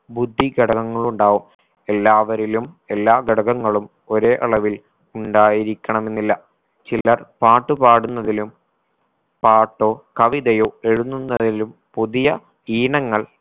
ബുദ്ധി ഘടകങ്ങളുണ്ടാവും എല്ലാവരിലും എല്ലാ ഘടകങ്ങളും ഒരേ അളവിൽ ഉണ്ടായിരിക്കണമെന്നില്ല. ചിലർ പാട്ടു പാടുന്നതിലും പാട്ടോ കവിതയോ എഴുതുന്നവരിലും പുതിയ ഈണങ്ങൾ